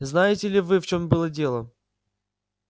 знаете ли вы в чём было дело